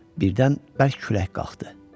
Birdən bərk külək qalxdı.